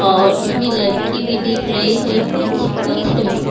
और इसमें लड़की भी दिख रही है कुछ कुछ --